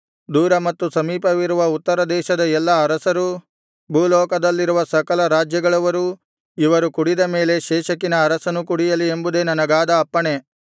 ದೂರ ಮತ್ತು ಸಮೀಪವಿರುವ ಉತ್ತರದೇಶದ ಎಲ್ಲಾ ಅರಸರು ಭೂಲೋಕದಲ್ಲಿರುವ ಸಕಲರಾಜ್ಯಗಳವರು ಇವರೆಲ್ಲರಿಗೂ ಕುಡಿಸು ಇವರು ಕುಡಿದ ಮೇಲೆ ಶೇಷಕಿನ ಅರಸನೂ ಕುಡಿಯಲಿ ಎಂಬುದೇ ನನಗಾದ ಅಪ್ಪಣೆ